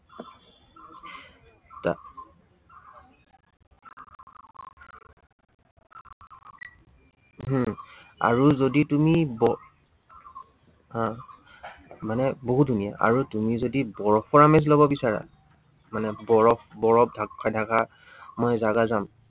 হম আৰু যদি তুমি আহ মানে বহুত ধুনীয়া। আৰু তুমি যদি বৰফৰ আমেজ লব বিচাৰা, মানে বৰফ বৰফ ঢাক খাই থকা মই জাগা যাম।